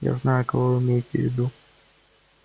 я знаю кого вы имеете в виду